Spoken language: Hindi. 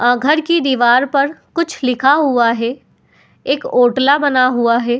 आ घर की दिवार पर कुछ लिखा हुआ है। एक ओतला बना हुआ है।